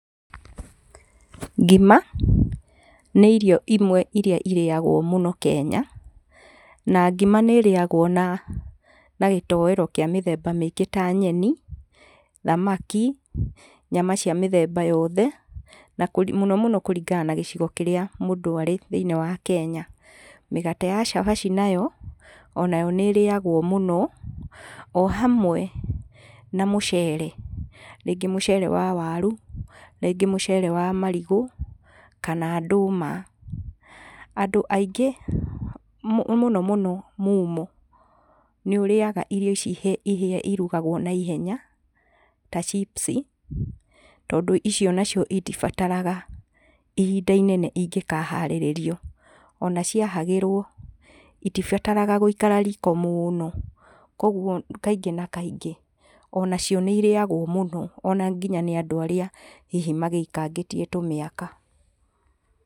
Ngima nĩ irio imwe iria irĩagwo mũno Kenya. Na ngima nĩ ĩrĩagwo na, na gĩtoero kĩa mĩthemba mĩngĩ ta nyeni, thamaki, nyama cia mĩthemba yothe, na mũno mũno kũringana na gĩcigo kĩrĩa mũndũ arĩ thĩniĩ wa Kenya. Mĩgate ya cabaci nayo, onayo nĩ ĩrĩyagwo mũno o hamwe na mũcere, rĩngĩ mũcere wa waru, rĩngĩ mũcere wa marigũ kana ndũma. Andũ aingĩ mũno mũno mumo nĩ ũrĩaga irio ici iruragwo naihenya, ta chips tondũ icio nacio itibataraga ihinda inene ingĩkaharĩrio. Ona ciahagĩrwo itibataraga gũikara riko mũno, koguo kaingĩ na kaingĩ onacio nĩ irĩagwo mũno nginya nĩ andũ arĩa hihi magĩikangĩtie tũmĩaka.